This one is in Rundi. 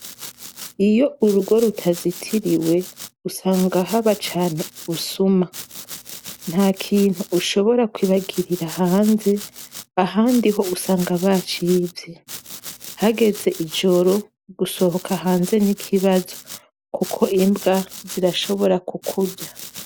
Iyo urugo rutazitiriwe usanga haba cane ubusuma, ntakintu ushobora kwibagirira hanze ahandi ho usanga bacivye. Hageze mwijoro gusoka hanze nikibazo, kuko imbwa zirashobora kukurya.